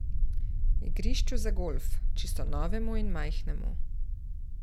Igrišču za golf, čisto novemu in majhnemu.